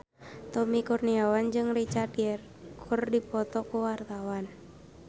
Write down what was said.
Tommy Kurniawan jeung Richard Gere keur dipoto ku wartawan